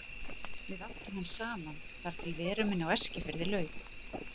Við áttum hann saman þar til veru minni á Eskifirði lauk.